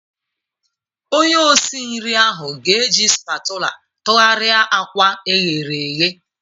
Onye osi nri ahụ ga-eji spatula tụgharịa akwa eghere eghe.